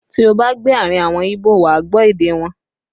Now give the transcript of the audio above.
Tí ó bá gbé àárín àwọn Ibo, wà á gbọ́ èdè wọn